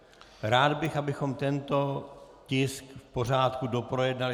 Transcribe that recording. Rád bych, abychom tento tisk v pořádku doprojednali.